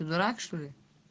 дурак что ли